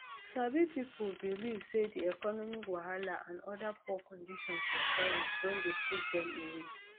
sabi pipo believe say di economic wahala and oda poor conditions of service don dey push dem away